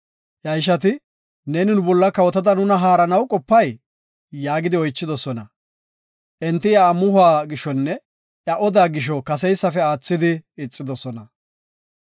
Iya ishati, “Neeni nu bolla kawotada nuna haaranaw qopay?” yaagidi oychidosona. Enti iya amuhuwa gishonne iya odaa gisho, kaseysafe aathidi ixidosona.